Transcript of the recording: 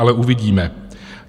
Ale uvidíme.